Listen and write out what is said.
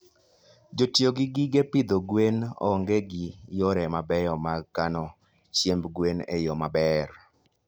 Jotiyo gi gige pidho gwen onge gi yore mabeyo mag kano chiemb gwen e yo maber.